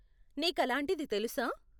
నీకలాంటిది తెలుసా?